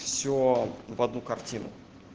все в одну картину